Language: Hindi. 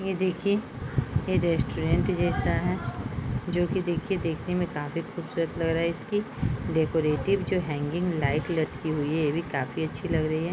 यह देखिए ये रेस्टोरेंट जैसा है जोकि देखिये देखने में काफी खूबसूरत लग रहा है। इसकी डेकोरेटिंग जो हैंगिंग लाइट्स लटकी हुई है काफी अच्छी लग रही है।